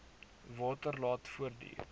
water laat voortduur